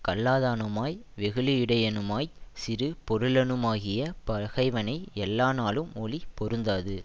கல்லாதானுமாய் வெகுளியுடையனுமாய்ச் சிறு பொருளனுமாகிய பகைவனை எல்லாநாளும் ஒளி பொருந்தாது